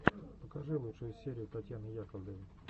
покажи лучшую серию татьяны яковлевой